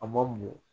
A ma mɔ